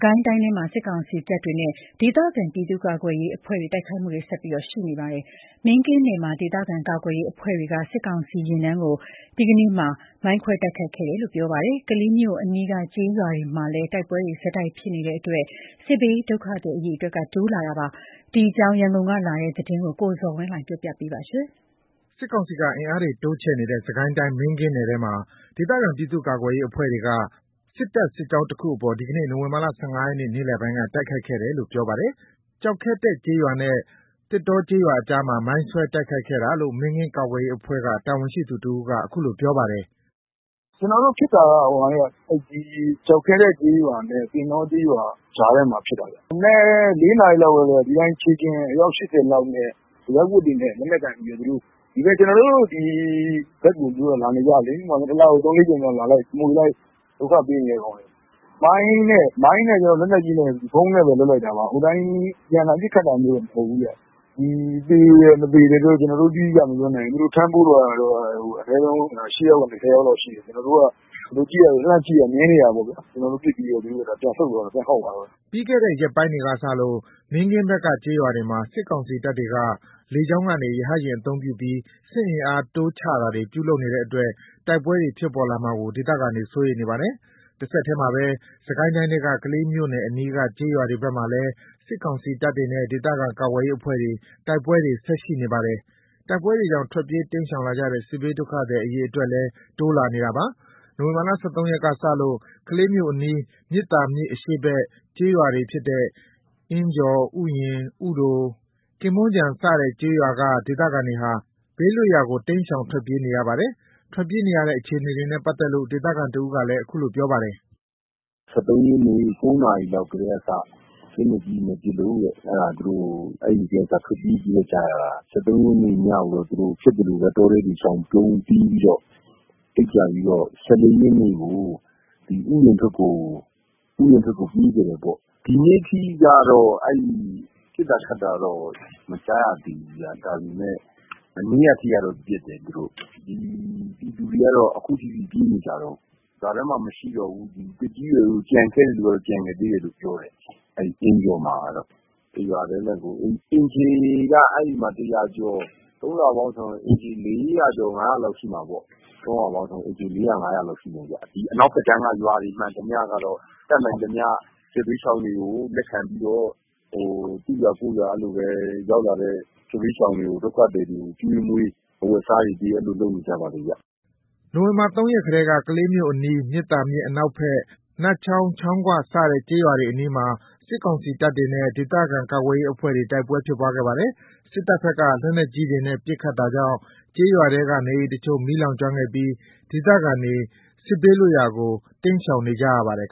ကိုင်းတိုင်းထဲမှာ စစ်ကောင်စီတပ်တွေနဲ့ ဒေသခံပြည်သူ့ကာကွယ်ရေးအဖွဲ့တွေ ဆက်ပြီး တိုက်ခိုက်နေကြပါတယ်။ မင်းကင်းနယ်မှာ ဒေသခံကာကွယ်ရေးအဖွဲ့တွေက စစ်ကောင်စီယာဉ်တန်းကို ဒီနေ့ နိုဝင်ဘာ ၁၅ ရက်မှာ မိုင်းခွဲတိုက်ခိုက်ခဲ့တယ် လို့ ပြောပါတယ်။ ကလေးမြို့အနီးက ကျေးရွာတွေမှာလည်း တိုက်ပွဲတွေ ဆက်တိုက်ဖြစ်နေတဲ့အတွက် စစ်ဘေးဒုက္ခသည် အရေအတွက်တိုးလာနေပါတယ်။ ဒီအကြောင်း ရန်ကုန်ကလာတဲ့သတင်းကို ကိုဇော်ဝင်းလှိုင်က တင်ပြပေးထားပါတယ်။ စစ်တပ်ဘက်က စစ်အင်အားတွေတိုးချဲ့နေတဲ့ စစ်ကိုင်းတိုင်း မင်းကင်းနယ်ထဲမှာ ဒေသခံ ပြည်သူ့ကာကွယ်ရေးအဖွဲ့တွေက စစ်တပ်စစ်ကြောင်းတခုကို ဒီကနေ့ နိုဝင် ဘာ ၁၅ ရက် နေ့လည်ပိုင်းက တိုက်ခိုက်ခဲ့တယ်လို့ ပြောပါတယ်။ ကျောက်ခဲတက်ကျေးရွာနဲ့ သင်တောကျေးရွာ ကြားမှာ မိုင်းဆွဲတိုက်ခိုက်ခဲ့တာလို့ မင်းကင်း ကာကွယ်ရေးအဖွဲ့ တာဝန်ရှိသူတဦးက အခုလိုပြောပါတယ်။ “ကျနော်တို့ဖြစ်တာက ကျောက်ခဲတက်ကျေးရွာနဲ့ သင်တော ကျေးရွာကြားထဲမှာ ဖြစ်တာ။ မနက် ၄ နာရီ လောက်ကတည်းက။ ဒီအတိုင်း ခြေလျင် အယောက် ၈၀ လောက်နဲ့ အရပ်ဝတ်တွေနဲ့ လက်နက်ကိုင်ပြီးတော့ ကျနော်တို့ဒီဘက်ကို သူတို့က လာနေကြလေ။ တလကို ၃/၄ ကြိမ်လောက် လာလိုက်၊ မွှေလိုက်၊ ဒုက္ခ ပေးနေတာ။ မိုင်းနဲ့ လက်နက်ကြီးနဲ့ ဗုံးနဲ့ပဲလုပ်လိုက်တာပါ။ အပြန်အလှန် ပစ်ခတ်တာမျိုးတော့ မဟုတ်ဘူးခင်ဗျ။ သေတယ် မသေတယ်တော့ တိတိကျကျမပြောနိုင်ဘူး။ ထမ်းပိုးသွားတာတော့ အနည်းဆုံး ၈ ယောက်ကနေ ၁၀ ယောက်လောက်ရှိတယ်။ သူတို့ကို လှမ်းကြည့်တော့ မြင်နေကြတယ်။ ကျနော်တို့ ပစ်လိုက်တော့ သူတို့က ပြန်ဆုတ်သွားတယ်။ ပြန်ခေါက်သွားတယ်။” ပြီးခဲ့တဲ့ရက်ပိုင်းတွေကစလို့ မင်းကင်းဘက်က ကျေးရွာတွေမှာ စစ်ကောင်စီတပ်တွေဟာ လေကြောင်းကနေ ရဟတ်ယာဉ်အသုံးပြုပြီး စစ်အင်အား တိုးချတာတွေ ပြုလုပ်နေတဲ့အတွက် တိုက်ပွဲတွေဖြစ်ပေါ်လာမှာကို ဒေသခံတွေ စိုးရိမ်နေပါတယ်။ တဆက်တည်းမှာပဲ စစ်ကိုင်းတိုင်းထဲက ကလေးမြို့နယ် အနီးက ကျေးရွာတွေဘက်မှာလည်း စစ်ကောင်စီတပ်တွေနဲ့ ဒေသခံကာကွယ်ရေးအဖွဲ့တို့ကြား တိုက်ပွဲတွေဆက်ရှိနေပါတယ်။ တိုက်ပွဲတွေကြောင့် ထွက်ပြေးတိမ်းရှောင်လာကြတဲ့ စစ်ဘေးဒုက္ခသည် အရေအတွက်လည်း တိုးလာနေပါတယ်။ နိုဝင်ဘာ ၁၃ ရက်ကစလို့ ကလေးမြို့အနီး မြစ်သာမြစ်အရှေ့ဘက် ကျေးရွာတွေဖြစ်တဲ့ အင်းကျော်၊ ဥယျာဉ်၊ ဥတို၊ ကင်းမွန်ခြုံစတဲ့ ကျေးရွာက ဒေသခံတွေဟာ ဘေးလွတ်ရာကို ကျေးရွာတွေကို တိမ်းရှောင်ထွက်ပြေးနေရပါတယ်။ ထွက်ပြေးနေရတဲ့ အခြေအနေနဲ့ ပတ်သက်လို့ ဒေသခံတဦးက အခုလိုပြောပါတယ်။ “၁၃ ရက်နေ့ ၉ နာရီလောက်ကတည်းကစပြီး လက်နက်ကြီးတွေနဲ့ပစ်လို့။ အဲ့ဒါ သူတို့ အဲ့ကတည်းက ထွက်ပြေးခဲ့ကြရတာ။ ၁၃ ရက်နေ့ညကိုတော့ ဖြစ်သလိုပဲ တောထဲတွေရှောင်ပုန်း အိပ်ကြပြီးတော့ ၁၄ ရက်နေ့ကို ဥယျာဉ်ဘက်ကို ပြေးခဲ့တယ်ပေါ့။ ဒီနေ့က ပစ်တာခတ်တာတော့ မကြားရသေးဘူး။ ဒါပေမယ့် မနေ့က အထိကတော့ ပစ်တယ်။ ပြည်သူတွေက အခုထိပြေးနေကြတုန်း။ ရွာထဲမှာ မရှိကြတော့ဘူး။ သက်ကြီးရွယ်အို ကျန်ခဲ့တဲ့သူတွေက ကျန်ခဲ့သေးတယ်လို့ပြောတယ်။ အဲ့အင်းကျော်မှာကတော့ တရွာတည်းနဲ့ကို အိမ်ခြေက ၁၀၀ ကျော် ၃ ရွာပေါင်းဆို အိမ်ခြေ ၄၀၀/၅၀၀ လောက်ရှိမှာပေါ့။ အနောက်ဘက်ကမ်းက ရွာတွေမှန်သမျှကတော့ တတ်နိုင်သမျှ စစ်ဘေးရှောင်တွေကို လက်ခံပြီးတော့ သူ့ရွာကိုယ့်ရွာ ရောက်လာတဲ့ စစ်ဘေးရှောင်တွေကို ကျွေးမွေး အဝတ်အစားတွေပေး လုပ်နေကြပါတယ်။” နိုဝင်ဘာ ၃ ရက်ကလည်း ကလေးမြို့အနီး မြစ်သာမြစ် အနောက်ဘက် နတ်ချောင်း၊ ချောင်းခွ စတဲ့ကျေးရွာတွေအနီးမှာ စစ်ကောင်စီတပ်တွေနဲ့ ဒေသခံကာကွယ်ရေးအဖွဲ့တွေ တိုက်ပွဲဖြစ်ပွားခဲ့ပါတယ်။ စစ်တပ်ဘက်က လက်နက်ကြီးတွေနဲ့ ပစ်ခတ် တာကြောင့် ကျေးရွာထဲက နေအိမ်အချို့ မီးလောင်ကျွမ်းခဲ့ပြီး ဒေသခံတွေ စစ်ဘေးလွတ်ရာကို တိမ်းရှောင်နေကြရပါတယ်